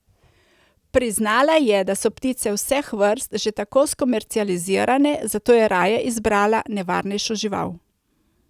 Priznala je, da so ptice vseh vrst že tako skomercializirane, zato je raje izbrala nevarnejšo žival.